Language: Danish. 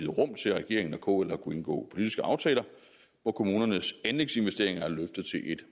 rum til at regeringen og kl har kunnet indgå politiske aftaler hvor kommunernes anlægsinvesteringer er løftet til et